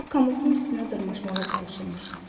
O komotun üstünə dırmaşmağa çalışırmış.